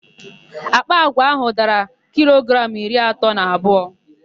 Àkpà àgwà áhụ̀ dara kilogramụ iri atọ na abụọ.